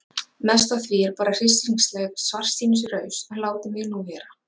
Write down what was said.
Mest af því er bara hryssingslegt svartsýnisraus en látið mig nú vera.